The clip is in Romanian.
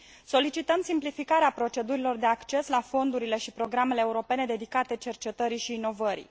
Solicităm simplificarea procedurilor de acces la fondurile și programele europene dedicate cercetării și inovării.